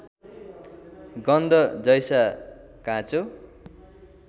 गन्ध जैसा काँचो